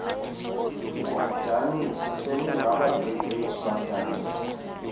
woomdaniso seningabaqeqeshi badanisi